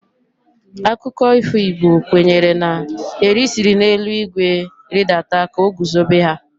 Akụkọ ifo Igbo kwenyere na Eri siri n'elu igwe ridata ka o guzobe ha.